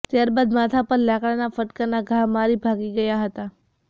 ત્યારબાદ માથા પર લાકડાના ફટકાના ઘા મારી ભાગી ગયા હતા